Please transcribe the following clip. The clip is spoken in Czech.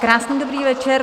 Krásný dobrý večer.